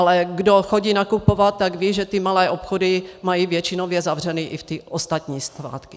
Ale kdo chodí nakupovat, tak ví, že ty malé obchody mají většinově zavřeny i v ty ostatní svátky.